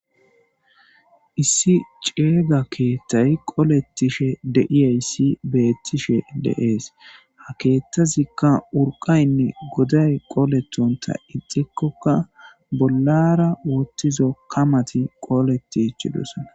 Issi c'ima keththi koletishshe betteshe de'es ha keththazikka uriqayinne godday koleththontha eththikokka bolara woththizo kamaththi koleththidosona.